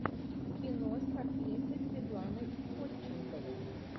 кино с актрисой светланой ходченковой